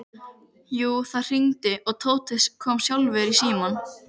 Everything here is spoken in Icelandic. Jú, það hringdi og Tóti kom sjálfur í símann.